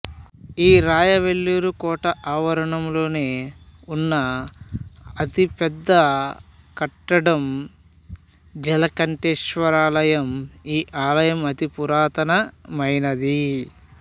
ఈ రాయ వెల్లూరు కోట ఆవరణంలోనె వున్న అతి పెద్ద కట్టడం జలకంటేశ్వరాలయం ఈ ఆలయం అతి పురాతన మైనది